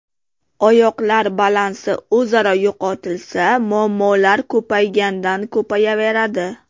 Oyoqlar balansi o‘zaro yo‘qotilsa, muammolar ko‘paygandan ko‘payaveradi.